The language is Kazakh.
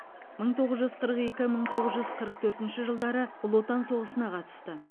мың тоғыз жүз қырық екі мың тоғыз жүз қырық төртінші жылдары ұлы отан соғысына қатысты